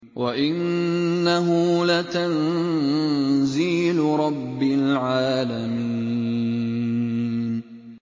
وَإِنَّهُ لَتَنزِيلُ رَبِّ الْعَالَمِينَ